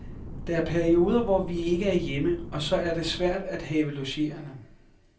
Der er perioder, hvor vi ikke er hjemme, og så er det svært at have logerende.